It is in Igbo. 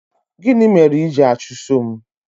Gịnị mere i jiri achụso m?